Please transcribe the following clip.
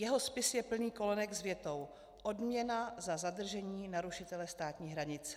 Jeho spis je plný kolonek s větou: Odměna za zadržení narušitele státní hranice.